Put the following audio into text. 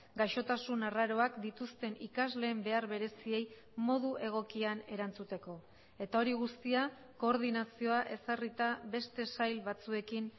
gaixotasun arraroak dituzten ikasleen behar bereziei modu egokian erantzuteko eta hori guztia koordinazioa ezarrita beste sail batzuekin